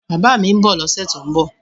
Bàbá mi ń bọ̀ lọ́sẹ̀ tó ń bọ̀